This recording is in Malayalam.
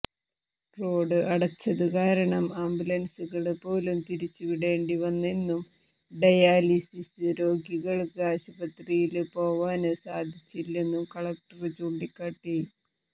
റോഡ് അടച്ചതുകാരണം ആംബുലന്സുകള് പോലും തിരിച്ചുവിടേണ്ടി വന്നെന്നും ഡയാലിസിസ് രോഗികള്ക്ക് ആശുപത്രിയില് പോവാന് സാധിച്ചില്ലെന്നും കലക്ടര് ചൂണ്ടിക്കാട്ടി